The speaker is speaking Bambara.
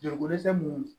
Joliko dɛsɛ mun